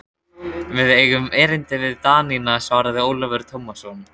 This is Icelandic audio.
Við eigum erindi við Danina, svaraði Ólafur Tómasson.